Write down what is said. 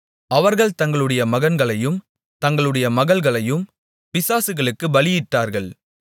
அவர்கள் தங்களுடைய மகன்களையும் தங்களுடைய மகள்களையும் பிசாசுகளுக்குப் பலியிட்டார்கள்